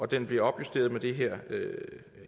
den bliver opjusteret med det her